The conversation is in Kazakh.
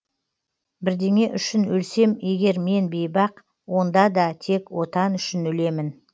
бірдеңе үшін өлсем егер мен бейбақ онда да тек отан үшін өлемін